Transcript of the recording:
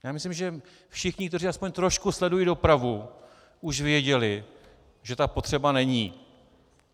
Já myslím, že všichni, kteří aspoň trošku sledují dopravu, už věděli, že ta potřeba není.